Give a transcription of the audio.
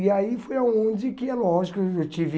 E aí foi aonde que, é lógico, eu tive